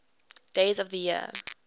days of the year